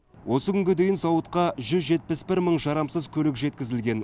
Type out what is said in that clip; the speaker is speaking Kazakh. осы күнге дейін зауытқа жүз жетпіс бір мың жарамсыз көлік жеткізілген